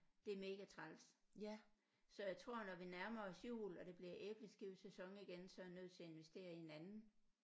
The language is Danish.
Det er mega træls så jeg tror når vi nærmer os jul og det bliver æbleskivesæson igen så er jeg nødt til at investere i en anden